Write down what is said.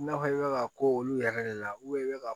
I n'a fɔ i bɛ ka k'olu yɛrɛ de la i bɛ ka